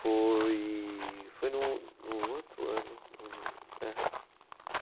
Foi, foi no, no outro ano. É.